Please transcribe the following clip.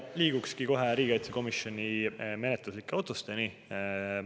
Liigukski kohe riigikaitsekomisjoni menetluslike otsuste juurde.